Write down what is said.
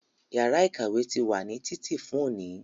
Yàrá ìkàwé ti wà ní títì fún òní